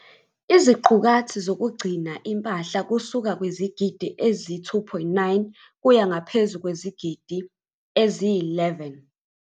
.iziqukathi zokugcina impahla kusuka kwizigidi ezi-2.9 kuya ngaphezu kwezigidi eziyi-11.